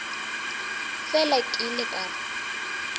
fela ke ile ka re